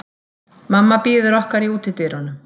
Mamma bíður okkar í útidyrunum.